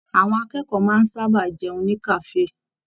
Àwọn akẹ́kọ̀ọ́ máa n sábà jẹun ní kafe.